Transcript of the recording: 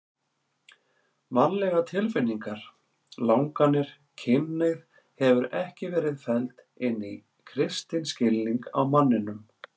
Mannlegar tilfinningar, langanir, kynhneigð hefur ekki verið felld inn í kristinn skilning á manninum.